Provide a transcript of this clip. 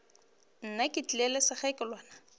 nna ke tlile le sekgekolwana